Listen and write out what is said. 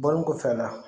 Bɔlen kɔfɛla la